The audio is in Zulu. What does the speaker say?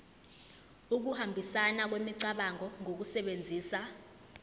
ukuhambisana kwemicabango ngokusebenzisa